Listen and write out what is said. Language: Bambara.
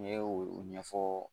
N ye u ɲɛfɔ